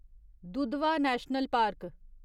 Dudhwa national park